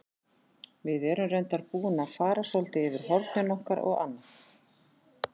Við erum reyndar búin að fara svolítið yfir hornin okkar og annað.